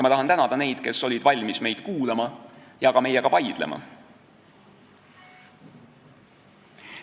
Ma tahan tänada neid, kes olid valmis meid kuulama ja ka meiega vaidlema.